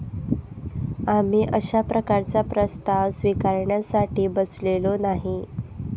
आम्ही अशा प्रकारचा प्रस्ताव स्विकारण्यासाठी बसलेलो नाही.